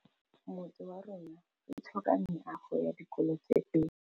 Motse warona o tlhoka meago ya dikolô tse pedi.